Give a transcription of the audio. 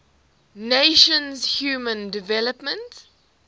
nations human development